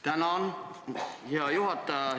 Tänan, hea juhataja!